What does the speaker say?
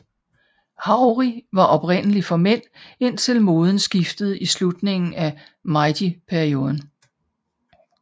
Haori var oprindeligt for mænd indtil moden skiftede i slutningen af Meiji perioden